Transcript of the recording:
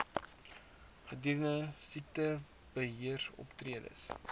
gedurende siektebe heeroptredes